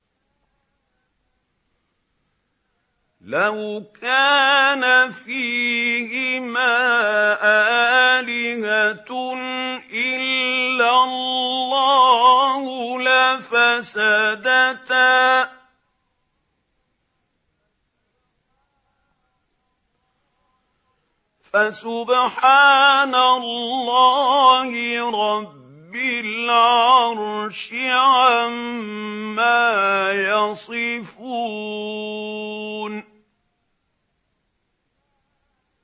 لَوْ كَانَ فِيهِمَا آلِهَةٌ إِلَّا اللَّهُ لَفَسَدَتَا ۚ فَسُبْحَانَ اللَّهِ رَبِّ الْعَرْشِ عَمَّا يَصِفُونَ